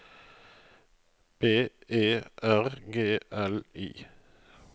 B E R G L I